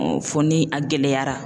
Fɔ ni a gɛlɛyara